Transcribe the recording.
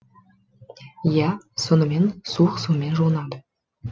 иә сонымен суық сумен жуынады